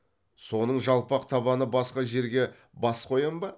соның жалпақ табаны басқа жерге бас қоям ба